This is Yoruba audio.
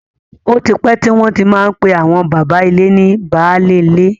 Ó ti pẹ́ tí wọ́n ti má ń pè àwọn bàbá ilé ní baálé ilé.